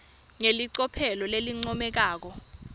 ngelicophelo lelincomekako